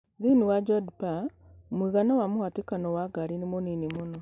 thĩinĩ wa Jodhpur mũigana wa mũhatĩkano wa ngari nĩ mũnini mũno